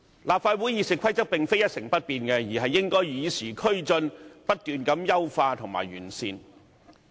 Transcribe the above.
立法會《議事規則》並非一成不變，而是應該與時並進，不斷優化及完善。